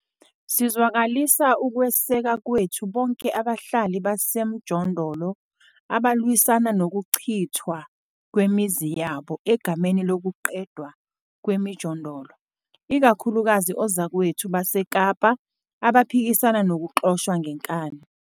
Sizwakalisa ukweseka kwethu bonke abahlali basemjondolo abalwisana nokuchithwa kwemizi yabo egameni lokuqedwa kwemijondolo, ikakhulukazi ozakwethu baseKapa abaphikisana nokuxoshwa ngenkani.